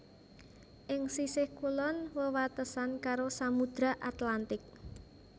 Ing sisih kulon wewatesan karo Samudra Atlantik